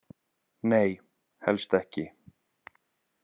Nei, helst ekki.